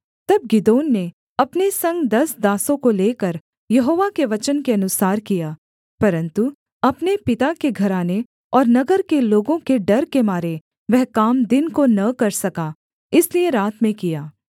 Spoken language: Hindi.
तब गिदोन ने अपने संग दस दासों को लेकर यहोवा के वचन के अनुसार किया परन्तु अपने पिता के घराने और नगर के लोगों के डर के मारे वह काम दिन को न कर सका इसलिए रात में किया